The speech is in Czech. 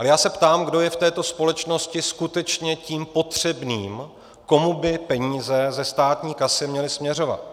Ale já se ptám, kdo je v této společnosti skutečně tím potřebným, komu by peníze ze státní kasy měly směřovat.